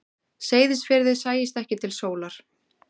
Seyðisfirði sæist ekki til sólar.